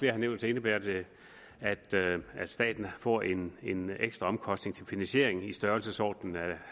har nævnt indebærer at staten får en en ekstra omkostning til finansiering i størrelsesordenen